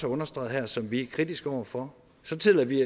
understreget her som vi er kritiske over for så tillader vi